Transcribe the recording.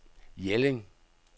Jelling